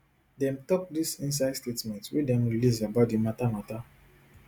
dem tok dis inside statement wey dem release about di mata mata